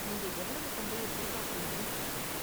நீங்க எவ்வளவு சம்பளம் எதிர்பார்க்கறீங்கனு சொல்லுங்க.